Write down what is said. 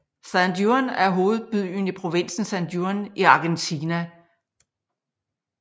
San Juan er hovedbyen i provinsen San Juan i Argentina